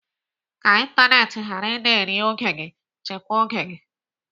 Ka ịntanetị ghara ị na-eri oge gị, chịkwa oge gị.